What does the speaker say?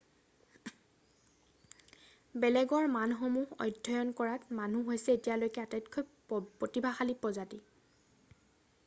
বেলেগৰ মনসমূহ অধ্যয়ন কৰাত মানুহ হৈছে এতিয়ালৈখে আটাইতকৈ প্ৰতিভাশালী প্ৰজাতি৷